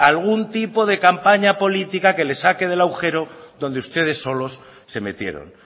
algún tipo de campaña política que les saque del agujero donde ustedes solos se metieron